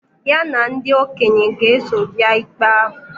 Ya na ndị okenye ga-eso bịa ikpe ahụ